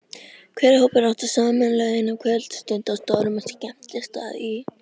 Hver hópur átti sameiginlega eina kvöldstund á stórum skemmtistað í